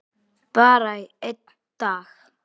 Bara í einn dag.